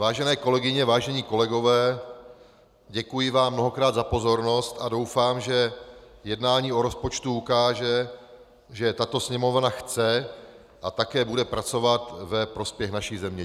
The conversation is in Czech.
Vážené kolegyně, vážení kolegové, děkuji vám mnohokrát za pozornost a doufám, že jednání o rozpočtu ukáže, že tato Sněmovna chce a také bude pracovat ve prospěch naší země.